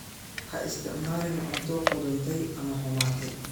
Ha isticmaalin cunto qudhuntay ama xumaatay.